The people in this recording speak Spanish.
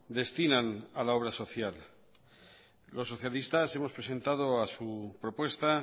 destinan a la obra social los socialistas hemos presentado a su propuesta